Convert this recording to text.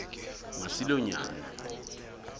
masilonyana